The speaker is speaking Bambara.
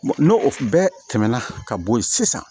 N'o bɛɛ tɛmɛna ka bo yen sisan